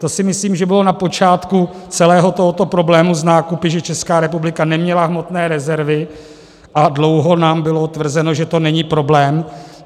To si myslím, že bylo na počátku celého tohoto problému s nákupy, že Česká republika neměla hmotné rezervy a dlouho nám bylo tvrzeno, že to není problém.